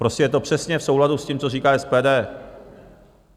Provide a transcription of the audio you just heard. Prostě je to přesně v souladu s tím, co říká SPD.